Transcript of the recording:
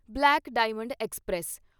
black diamond express